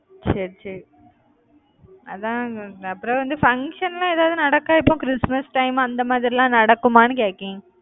சரி சரி அதா அப்புறம் வந்து function எல்லாம் ஏதாவது நடக்கா? இப்போ கிறிஸ்துமஸ் time அந்த மாதிரிலாம் நடக்குமான்னு கேக்கேன்